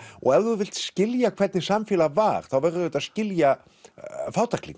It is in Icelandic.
og ef þú vilt skilja hvernig samfélag var þá verðurðu auðvitað að skilja